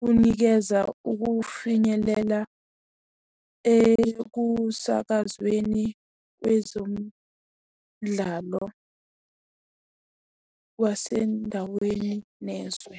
Kunikeza ukufinyelela ekusakazweni kwezomdlalo wasendaweni nezwe.